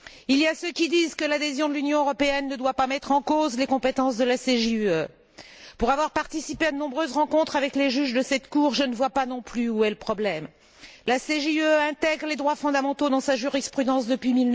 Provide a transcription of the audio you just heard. Il y a ceux qui disent que l'adhésion de l'Union européenne ne doit pas mettre en cause les compétences de la CJUE. Pour avoir participé à de nombreuses rencontres avec les juges de cette cour, je ne vois pas non plus où est le problème. La CJUE intègre les droits fondamentaux dans sa jurisprudence depuis